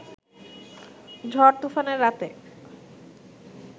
ঝড়-তুফানের রাতে